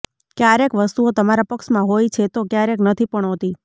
ક્યારેક વસ્તુઓ તમારા પક્ષમાં હોય છે તો ક્યારેક નથી પણ હોતી